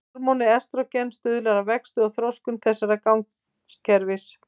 Hormónið estrógen stuðlar að vexti og þroskun þessa gangakerfis.